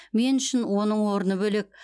мен үшін оның орны бөлек